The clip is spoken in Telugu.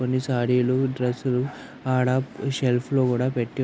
కొన్ని సారీలు డ్రెస్సులు ఆడ సెల్ఫ్లో కూడా పెట్టి --